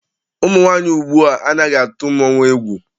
Ụmụ nwaanyị ugbua anaghị atụ mmọnwụ egwù.